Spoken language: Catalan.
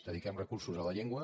dediquem recursos a la llengua